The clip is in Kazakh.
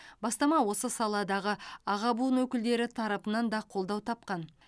бастама осы саладағы аға буын өкілдері тарапынан да қолдау тапқан